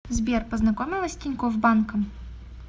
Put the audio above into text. сбер познакомилась с тинькофф банком